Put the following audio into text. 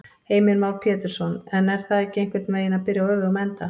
Heimir Már Pétursson: En er það ekki einhvern veginn að byrja á öfugum enda?